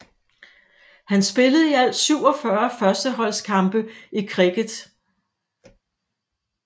Han spillede i alt 47 førsteholds kampe i cricket